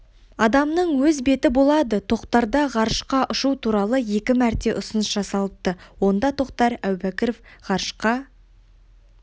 адамның өз беті болады тоқтарға ғарышқа ұшу туралы екі мәрте ұсыныс жасалыпты онда тоқтар әубәкіров ғарышқа